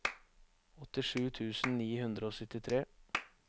åttisju tusen ni hundre og syttitre